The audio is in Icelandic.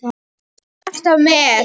Fúsi var alltaf með